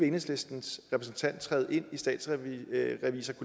enhedslistens repræsentant træde ind